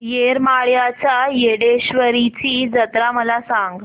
येरमाळ्याच्या येडेश्वरीची जत्रा मला सांग